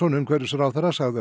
umhverfisráðherra sagði